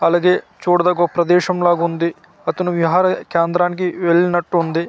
అలాగే చడదగ్గ ఓ ప్రదేశం లాగుంది అతను విహార కేంద్రానికి వెళ్ళినటు ఉంది.